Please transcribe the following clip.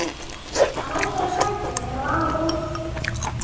Hann óttaðist ekki að heyra val Ólafs Hjaltasonar.